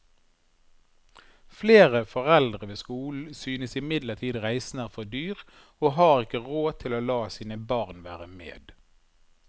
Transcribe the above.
Flere foreldre ved skolen synes imidlertid reisen er for dyr og har ikke råd til å la sine barn være med.